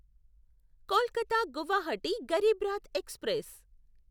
Kolkata Guwahati Garib Rath express